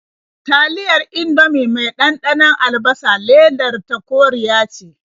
Taliyar Indomie mai ɗanɗanon albasa ledar ta koriya ce.